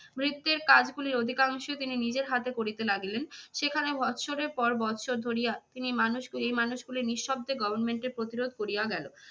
ভৃত্যের কাজগুলি অধিকাংশ তিনি নিজের হাতে করিতে লাগিলেন। সেখানে বৎসরের পর বৎসর ধরিয়া তিনি মানুষগুলি এই মানুষগুলি নিঃশব্দ government এর প্রতিরোধ করিয়া গেল।